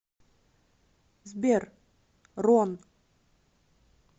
сбер рон